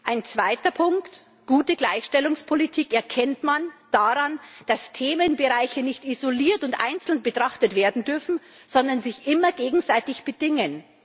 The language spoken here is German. Ein zweiter Punkt Gute Gleichstellungspolitik erkennt man daran, dass Themenbereiche nicht isoliert und einzeln betrachtet werden dürfen, sondern sich immer gegenseitig bedingen.